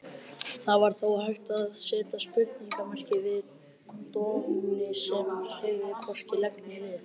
Það var þó hægt að seta spurningarmerki við Doni sem hreyfði hvorki legg né lið.